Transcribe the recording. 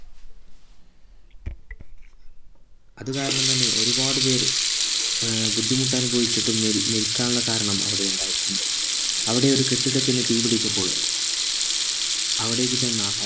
അത് കാരണം തന്നെ ഒരുപാട് പേർ ഏർ ബുദ്ധിമുട്ട് അനുഭവിച്ചിട്ടും മേരി മെരുക്കാനുള്ള കാരണം അവിടെ ഉണ്ടായിട്ടുണ്ട് അവിടെ ഒരു കെട്ടിടത്തിന് തീ പിടിച്ചപ്പോൾ അവിടേക്ക് ചെന്ന